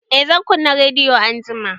Eh zan kunna rediyo anjima